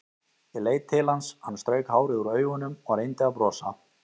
Ég leit til hans, hann strauk hárið úr augunum og reyndi að brosa.